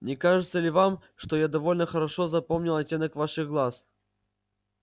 не кажется ли вам что я довольно хорошо запомнил оттенок ваших глаз